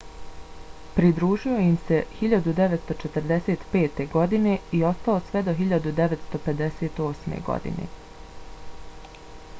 pridružio im se 1945. godine i ostao sve do 1958. godine